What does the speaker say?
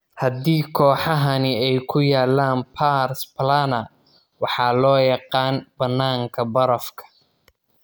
Haddi kooxahani ay ku yaalaan pars plana, waxa loo yaqaan bananka barafka.